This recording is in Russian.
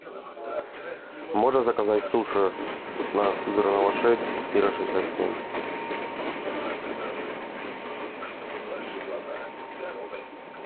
можно заказать суши на сызранова шесть квартира шестьдесят семь